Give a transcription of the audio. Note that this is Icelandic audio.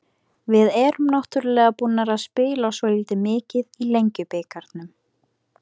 Við erum náttúrulega búnar að spila svolítið mikið í Lengjubikarnum.